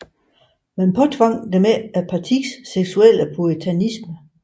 Man påtvang dem ikke Partiets seksuelle puritanisme